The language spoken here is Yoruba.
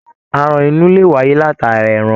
Aràn inú lè wáyé látara ẹran.